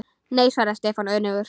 Nei svaraði Stefán önugur.